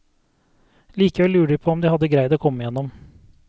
Likevel lurer de på om de hadde greid å komme igjennom.